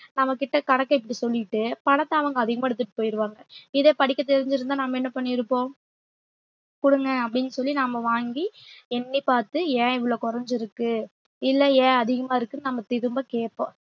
நம்மகிட்ட கணக்கே இப்படி சொல்லிட்டு பணத்தை அவங்க அதிகமா எடுத்துட்டு போயிடுவாங்க இதே படிக்க தெரிஞ்சிருந்தா நம்ம என்ன பண்ணிருப்போம் குடுங்க அப்பிடின்னு சொல்லி நாம வாங்கி எண்ணிப் பார்த்து ஏன் இவ்வளவு குறைஞ்சிருக்கு இல்லை ஏன் அதிகமா இருக்குன்னு நம்ம திரும்ப கேட்போம்